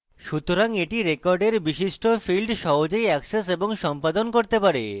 সুতরাং এটা record বিশিষ্ট fields সহজেই অ্যাক্সেস এবং সম্পাদন করতে পারে